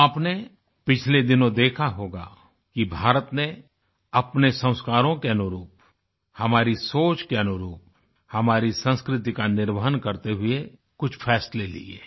आपने पिछले दिनों देखा होगा कि भारत ने अपने संस्कारो के अनुरूप हमारी सोच के अनुरूप हमारी संस्कृति का निर्वहन करते हुए कुछ फ़ैसले लिए हैं